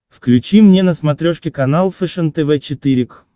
включи мне на смотрешке канал фэшен тв четыре к